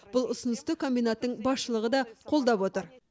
бұл ұсынысты комбинаттың басшылығы да қолдап отыр